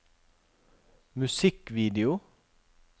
musikkvideo